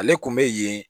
Ale kun bɛ yen